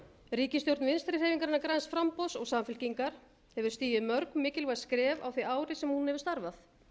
ríkisstjórn vinstri hreyfingarinnar græns framboðs og samfylkingar hefur stigið mörg mikilvæg skref á því ári sem hún hefur starfað